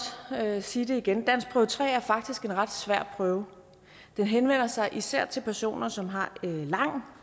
sige det igen danskprøve tre er faktisk en ret svær prøve den henvender sig især til personer som har lang